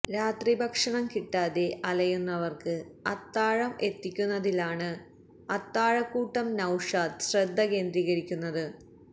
രാത്രി ഭക്ഷണം കിട്ടാതെ അലയുന്നവർക്ക് അത്താഴം എത്തിക്കുന്നതിലാണ് അത്താഴക്കൂട്ടം നൌഷാദ് ശ്രദ്ധ കേന്ദ്രീകരിക്കുന്നത്